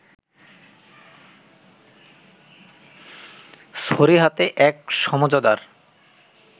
ছড়ি হাতে এক সমঝদার